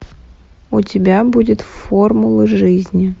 у тебя будет формула жизни